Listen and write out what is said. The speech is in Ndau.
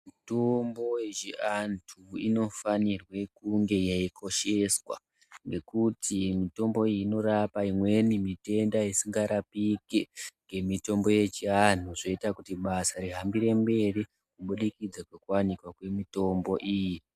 Mitombo yechiantu inofanirwe kunga yeikosheswa. Ngekuti mitombo iyi inotapa imweni mitenda isikarapike ngemitombo yechiantu. Zvoita kuti basa rihambire mberi kubudikidza kwekuvanikwa kwemitombo iyo.